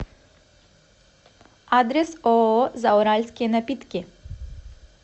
адрес ооо зауральские напитки